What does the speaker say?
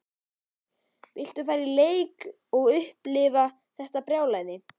Viltu fara á leik og upplifa þetta brjálæði?